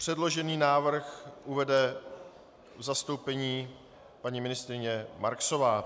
Předložený návrh uvede v zastoupení paní ministryně Marksová.